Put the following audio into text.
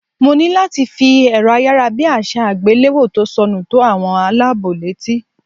Mo ní láti fi èrọ ayárabíàṣá àgbéléwò tó sọnù tó àwọn aláàbọ̀ létí.